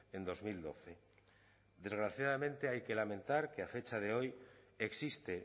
en dos mil doce desgraciadamente hay que lamentar que a fecha de hoy existe